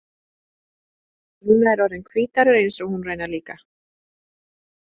Núna er hann orðinn hvíthærður eins og hún raunar líka.